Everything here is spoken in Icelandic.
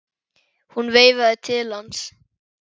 Hún veifaði til hans.